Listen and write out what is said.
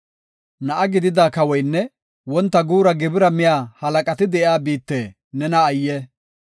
Na7a gidida kawoynne wonta guura gibira miya halaqati de7iya biitte nena ayye!